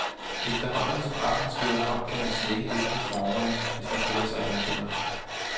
Efterhånden som aftenen skrider frem, kan man slække lidt på formerne, hvis man føler sig blandt venner.